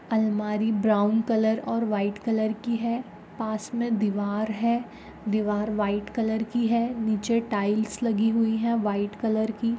अलमारी brown colour और white colour की है पास मे दीवार है दीवार व्हाइट कलर की है निचे टाइल्स लगि हुई है व्हाइट कलर की।